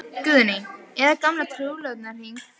Guðný: Eða gamlan trúlofunarhring?